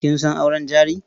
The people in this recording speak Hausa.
Kin san auren jari?